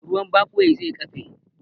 Ruwan ɓagwai zai ƙafe